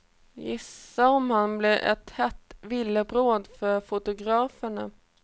Gissa om han blev ett hett villebråd för fotograferna.